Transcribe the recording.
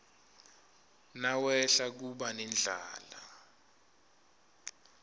nawehla kuba nendlala